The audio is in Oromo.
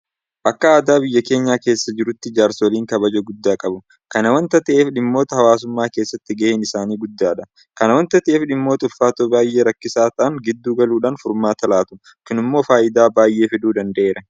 Akka aadaa biyya keenya keessa jiruutti jaarsoliin kabaja guddaa qabu. Kana waanta ta'eef dhimmoota hawaasummaa keessatti gaheen isaanii guddaadha. Kana waanta ta'eef dhimmoota ulfaatoo baay'ee rakkisaa ta'an gidduu galuudhaan furmaatu laatu. Kun immoo faayidaa baay'ee fiduu danda'eera.